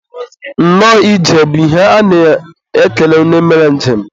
nnọọ ije bụ ihe a na-ekele onye mere njem